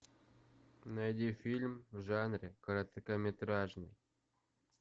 найди фильм в жанре короткометражный